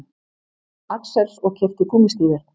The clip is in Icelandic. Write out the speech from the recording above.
Axels og keypti gúmmístígvél.